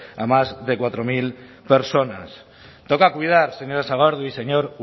a más de cuatro mil personas toca cuidar señora sagardui señor